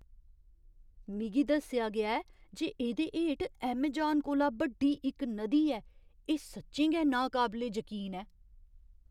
मिगी दस्सेआ गेआ ऐ जे एह्दे हेठ अमेजान कोला बड्डी इक नदी ऐ। एह् सच्चें गै नाकाबले जकीन ऐ!